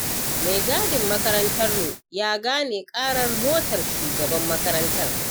Mai gadin makarantar mu ya gane ƙarar motar shugaban makarantar.